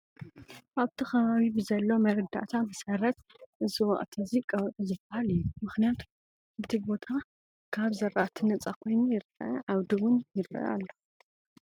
ኣብቲ ከባቢ ብዘሎ መረዳእታ መሰረት እዚ ወቕቲ እዚ ቀውዒ ዝበሃል እዩ፡፡ ምኽንያቱም እቲ ቦታ ካብ ዝራእቲ ነፃ ኮይኑ ይርአ ዓውዲ እውን ይርአ ኣሎ፡፡